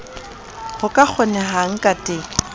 ho ka kgonehang ka teng